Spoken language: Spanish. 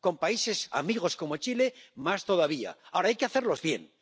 con países amigos como Chile, más todavía. Ahora, hay que hacerlos bien.